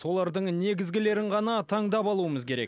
олардың негізгілерін ғана таңдап алуымыз керек